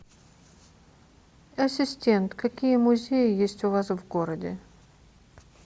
ассистент какие музеи есть у вас в городе